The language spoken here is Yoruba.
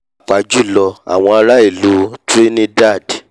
pàápàá jùlọ àwọn ará ìlú ará ìlú cs] trinidad